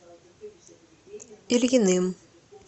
ильиным